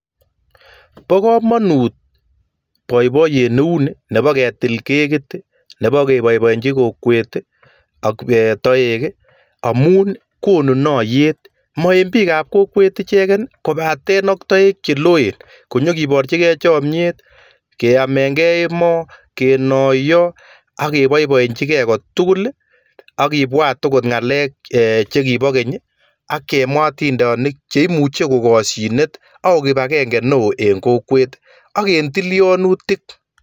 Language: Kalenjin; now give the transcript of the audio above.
Bo kamanut boiboiyet neuni nebo ketil kekiit, nebo koboiboichin kokwet ak toek amun konu naiyet, ma en biikab kokwet icheken kobaten en toek che loen konyikiporchikei chomiet, keamekei emoo, kenaiyoo ak boiboinchikei kotugul ak kibwat angot ngalek chekibo keny ak kemwa atindoniik che imuche kokashinet ako kibagenge neo en kokwet ak eng tilianutik.